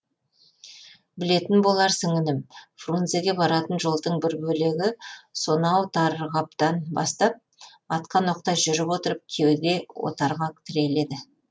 білетін боларсың інім фрунзеге баратын жолдың бір бөлегі сонау тарғаптан бастап атқан оқтай жүріп отырып кеуде отарға тіреледі